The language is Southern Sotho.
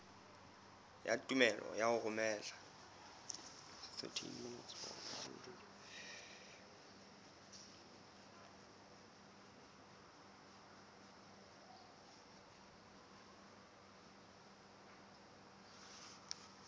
ya tumello ya ho romela